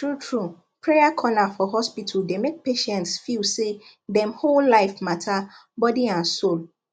truetrue prayer corner for hospital dey make patients feel say dem whole life matter body and soul